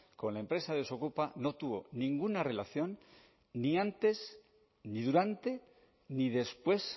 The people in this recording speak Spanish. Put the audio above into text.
con la empresa desokupa no tuvo ninguna relación ni antes ni durante ni después